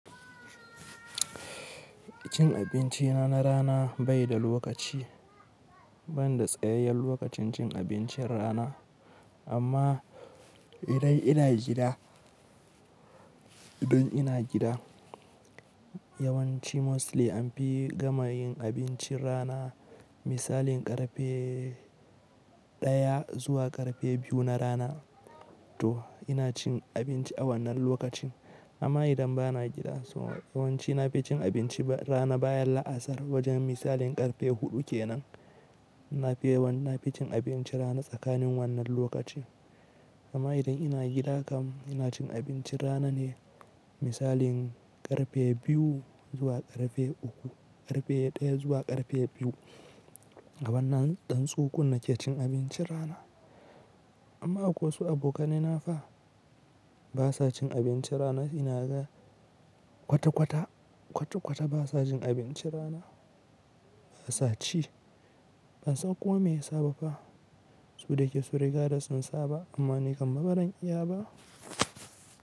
Cin abinci na rana bai da lokaci, ban da tsayayyen lokacin cin abincin rana. Amma idan ina gida, idan ina gida yawanci mostly an fi gama yin abincin rana misalin ƙarfe ɗaya zuwa ƙarfe biyu na rana to ina cin abinci a wannan lokacin. Amma idan bana gida sai yawanci na fi cin abinci rana bayan la'asar wajen misalin ƙarfe huɗu kenan. Na fi wannan na fi cin abinci rana tsakanin wannan lokaci. Amma idan ina gida kam ina cin abincin rana ne misalin ƙarfe biyu zuwa ƙarfe uku, ƙarfe ɗaya zuwa ƙarfe biyu a wannan ɗan tsukunna ke cin abincin rana. Amma a wasu abokanai na fa ba sa cin abinci rana ina ga kwata-kwata, kwata-kwata ba sa jin abinci rana, ba sa ci. Ban san kome ya saba fa. Su da ke su riga da sun saba amma ni kam maran iya ba.